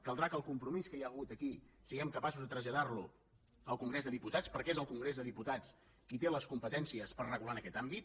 caldrà que el compromís que hi ha hagut aquí siguem capaços de traslladar lo al congrés dels diputats perquè és el congrés dels diputats qui té les competències per regular en aquest àmbit